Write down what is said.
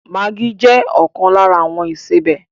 Maggi jẹ ọkan lára àwọn ìsebẹ̀